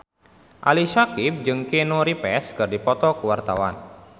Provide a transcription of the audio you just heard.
Ali Syakieb jeung Keanu Reeves keur dipoto ku wartawan